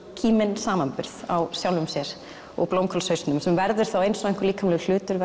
kíminn samanburð á sjálfum sér og blómkálshausnum sem verður þá eins og einhver líkamlegur hlutur